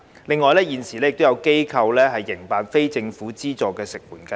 另外，現時有機構營辦非政府資助的食援服務。